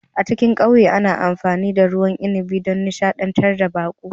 A cikin ƙauyen ana amfani da ruwan inabi don nishadantar da baƙo